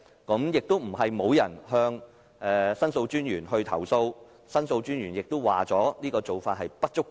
過去不是沒有人向申訴專員投訴，申訴專員也表示這做法並不足夠。